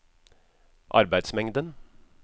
arbeidsmengden